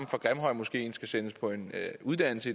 grimhøjmoskeen skal sendes på en uddannelse